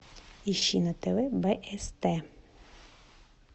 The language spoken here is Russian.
ищи на тв бст